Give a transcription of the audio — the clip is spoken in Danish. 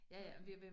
Nej